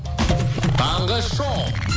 таңғы шоу